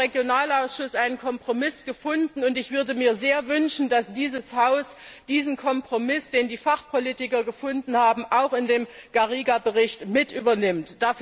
Wir haben im Regionalausschuss einen Kompromiss gefunden, und ich würde mir sehr wünschen, dass dieses Haus diesen Kompromiss, den die Fachpolitiker gefunden haben, in den Bericht Garriga übernimmt.